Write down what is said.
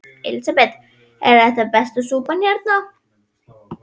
Elísabet: Er þetta besta súpan hérna?